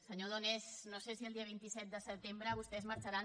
senyor donés no sé si el dia veinte siete de setembre vostès marxaran